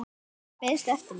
Þar beiðstu eftir mér.